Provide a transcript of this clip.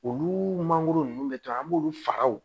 Olu mangoro nunnu bɛ to an b'olu faga o